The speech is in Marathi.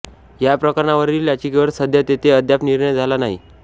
या प्रकरणावरील याचिकेवर सध्या तेथे अद्याप निर्णय झाला नाही